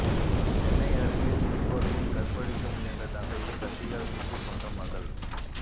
சென்னை அருகே குடிபோதையில் கற்பழிக்க முயன்ற தந்தையை கத்தியால் குத்திக் கொன்ற மகள்